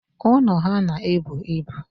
Ụnọ ha na-ebu ibu.